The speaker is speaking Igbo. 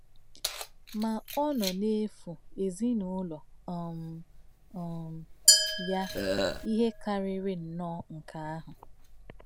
Mà ọ̀ nọ̀ nà-èfù èzìnụ́lọ̀ um um yà ìhè kàrírì nnọọ nké àhụ̀.